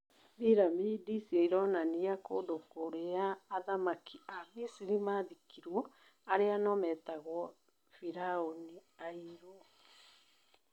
Biramidi icio ironania kũndũ kũrĩa athamaki a Misiri mathikĩtwo arĩa no metagwo "Firaũni airũ".